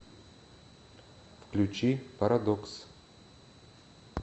включи парадокс